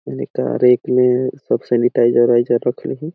मेन का रेक में सब सेनिटाइज़र वाइज़र रखल है।